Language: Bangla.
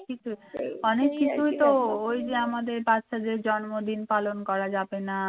অনেক কিছুই তো ওই যে আমাদের বাচ্চাদের জন্মদিন পালন করা যাবে না